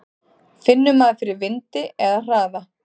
Finnur maður fyrir vindi eða hraða?